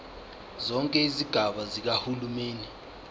zonke izigaba zikahulumeni